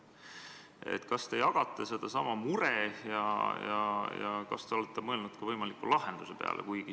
Kas te jagate seda muret ja kas te olete mõelnud ka võimaliku lahenduse peale?